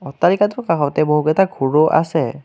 অট্টালিকাটোৰ কাষতে বহুকেইটা ঘৰো আছে।